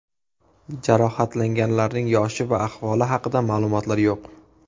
Jarohatlanganlarning yoshi va ahvoli haqida ma’lumotlar yo‘q.